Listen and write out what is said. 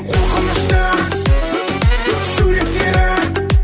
қорқынышты суреттері